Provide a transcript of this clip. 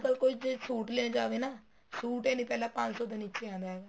ਅੱਜਕਲ ਜ਼ੇ ਕੋਈ suit ਲੈਣ ਜਾਵੇ ਨਾ suit ਹੀ ਨਹੀਂ ਪਹਿਲਾ ਪੰਜ ਸੋ ਨੀਚੇ ਆਂਦਾ ਹੈਗਾ